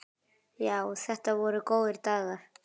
Já, þetta voru góðir dagar.